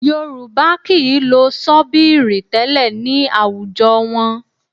Yorùbá kì í lo ṣọ́bíìrì tẹ́lẹ̀ ní àwùjọ wọn